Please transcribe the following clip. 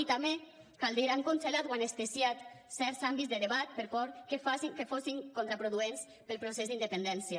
i també cal dir ho han congelat o anestesiat certs àmbits de debat per por que fossin contraproduents per al procés d’independència